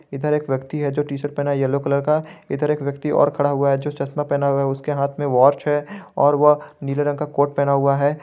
इधर एक व्यक्ति है जो टी_शर्ट पहना येलो कलर का इधर एक व्यक्ति और खड़ा हुआ है जो चश्मा पहना हुआ है उसके हाथ में वॉच है और वह नीले रंग का कोट पहना हुआ है।